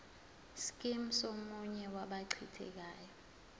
scheme somunye wabathintekayo